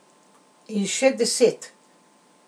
In še deset.